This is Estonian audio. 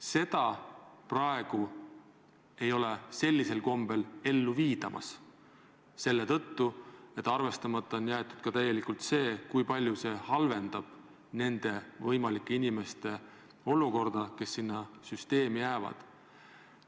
Seda praegu sellisel kombel ellu ei viida, kusjuures arvestamata on jäetud täielikult see, kui palju see halvendab nende inimeste olukorda, kes teise sambasse jäävad.